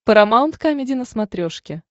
парамаунт камеди на смотрешке